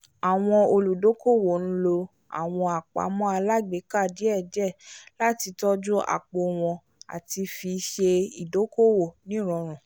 àwọn olùdókòwò n lo àwọn àpamọ́ alágbèéká díẹ̀díẹ̀ láti tọ́jú àpò wọn àti fi ṣe ìdókòwò ní ìrọrùn